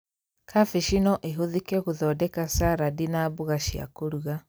Kambĩji no ĩhũthĩke gũthondeka carandi na mboga cia kũrũga